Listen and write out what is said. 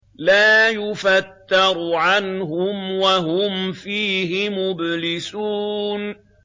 لَا يُفَتَّرُ عَنْهُمْ وَهُمْ فِيهِ مُبْلِسُونَ